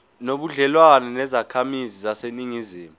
nobudlelwane nezakhamizi zaseningizimu